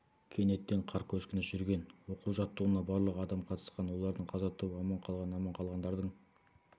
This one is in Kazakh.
кенеттен қар көшкіні жүрген оқу-жаттығуына барлығы адам қатысқан олардың қаза тауып аман қалған аман қалғандардың